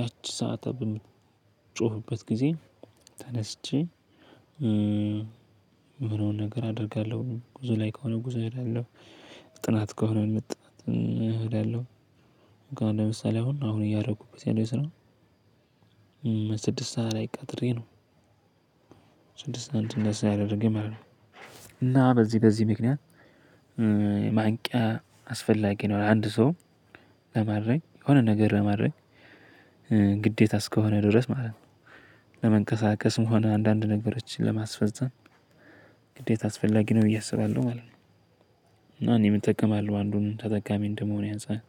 ያቺ ሰዓቷ በምትጮህበት ጊዜ ተነስቼ፣ ምሆነውን ነገር አደርጋለሁ። ጉዞ ላይ ከሆነ ጉዞ እሄዳለሁ። ጥናት ከሆነ ጥናት እሄዳለሁ። ለምሳሌ አሁን አሁን እያደረኩበት ያለው ስራ፣ ስድስት ሰዓት ላይ ቀጥሬ ነው፣ ስድስት ሰዓት እንድነሳ ያደረገኝ ማለት ነው። እና በዚህ በዚህ ምክንያት ማንቂያ አስፈላጊ ነው ለአንድ ሰው። ለማድረግ የሆነ ነገር ለማድረግ፣ ግዴታ እስከሆነ ድረስ ማለት ነው። ለመንቀሳቀስም ሆነ አንዳንድ ነገሮችን ለማስፈፀም ግዴታ አስፈላጊ ነው ብዬ አስባለሁ ማለት ነው። እና እኔም እጠቀማለሁ አንዱን ተጠቃሚ እንደመሆኔ አንፃር።